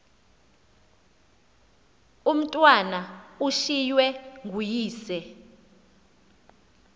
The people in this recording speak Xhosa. umatwana ushiywe nguyise